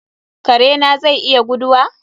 Kare na zai iya guduwa?